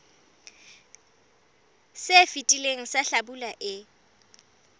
se fetileng sa hlabula e